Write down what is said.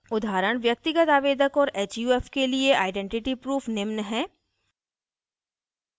उदाहरण व्यक्तिगत आवेदक और huf के लिए आइडेंटिटी proof निम्न हैं